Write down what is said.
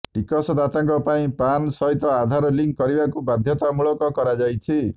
ଟିକସଦାତାଙ୍କ ପାଇଁ ପାନ୍ ସହିତ ଆଧାର ଲିଙ୍କ୍ କରିବାକୁ ବାଧ୍ୟତାମୂଳକ କରାଯାଇଛି